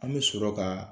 An bɛ sɔrɔ ka